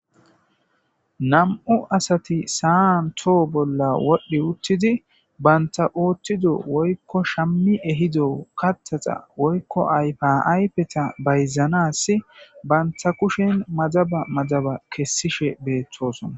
nam7u asati saan toho bolla wodhdhi uttidi banta oothtido woykko shammi ehido kattaxa woykko ayfaypeta bayzanas banta kushen madaba madaba kessishe beethosona